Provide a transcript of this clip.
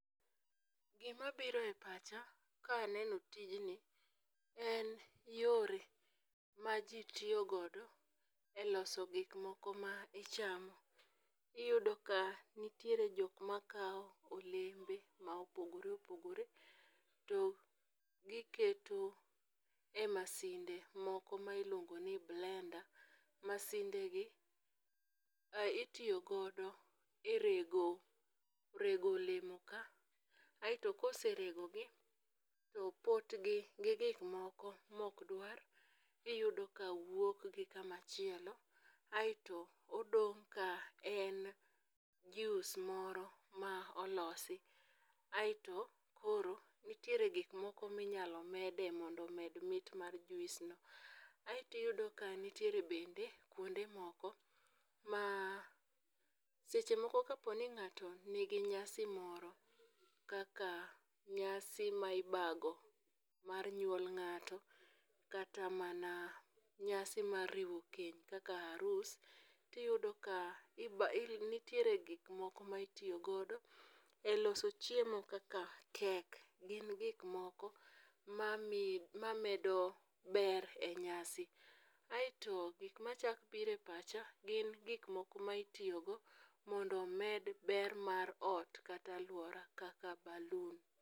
gimabiro e pacha naeno tijni en yore ma ji tiyo godo e loso gikmoko ma ichamo . Iyudo ka nitiere jok ma kawo olembe ma opogore opogore to giketo e masinde moko ma iluongo ni blender. Masindegi itiyo godo e rego olemoka, aeto koseregogi to potgi gi gikmoko mokdwar iyudo ka wuok gi kamachielo aeto odong' ka en juice moro ma olosi, aeto koro nitiere gikmoko minyalo mede mondo omed mit mar juice no. Aaeto iyudo ka nitiere bende kwonde moko ma seche moko kaponi ng'ato nigi nyasi moro kaka nyasi ma ibago mar nyuol ng'ato kata mana nyasi mar riwo keny kaka arus, iyudo ka nitiere gik moko ma itiyo godo e loso chiemo kaka cake, gin gikmoko maedo ber e nyasi. Aetoi gik machako biro e pacha gin gikmoko ma iyitogo mondo omed ber mar ot kata alwora kaka baloon.